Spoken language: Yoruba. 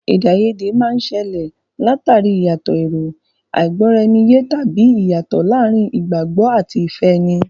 Èdè àìyedè máa ń ṣẹlẹ̀ l'àtàrí ìyàtọ̀ èrò, àìgbọ́-ara-ẹni-yé, tàbí ìyàtọ̀ láàárín ìgbàgbọ́ àti ìfẹ́ ẹni.